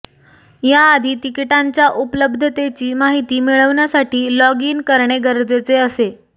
याआधी तिकीटांच्या उपलब्धतेची माहिती मिळवण्यासाठी लॉग इन करणे गरजेचे असे